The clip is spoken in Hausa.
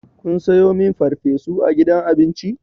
Kun sayo min farfesu a gidan abinci?